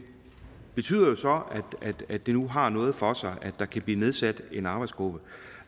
betyder jo så at det nu har noget for sig og at der kan blive nedsat en arbejdsgruppe